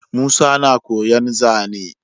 Musa na koyan zane